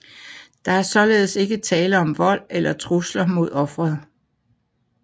Der er således ikke tale om vold eller trusler mod offeret